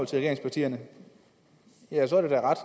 til regeringspartierne og så er det da ret